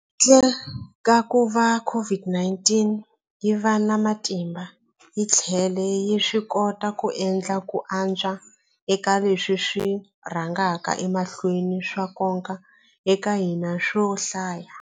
Handle ka kuva COVID-19 yi va na matimba, hi tlhele hi swikota ku endla ku antswa eka leswi swi rhangaka emahlweni swa nkoka eka hina swo hlaya.